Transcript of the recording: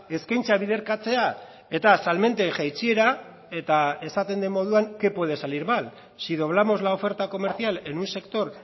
eskaintza biderkatzea eta salmenten jaitsiera eta esaten den moduan qué puede salir mal si doblamos la oferta comercial en un sector